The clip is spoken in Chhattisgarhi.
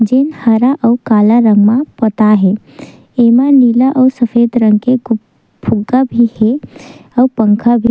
जे हरा और काला रंग में पोताये है एमे नीला और सफ़ेद रंग के कुछ फुगा भी है और पंखा भी --